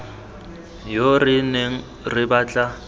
yo re neng re batla